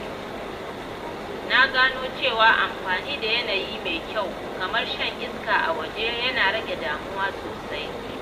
Na gano cewa amfani da yanayi mai kyau, kamar shan iska a waje, yana rage damuwa sosai.